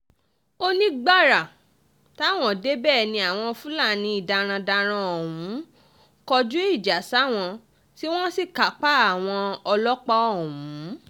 ó ní gbàrà táwọn débẹ̀ ni àwọn fúlàní darandaran ọ̀hún kọjú ìjà sáwọn tí wọ́n sì kápá àwọn ọlọ́pàá ọ̀hún